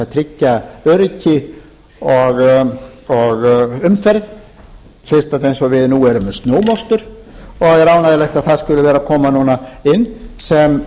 tryggja öryggi og umferð eins og við nú erum með snjómokstur og er ánægjulegt að það skuli vera að koma núna sem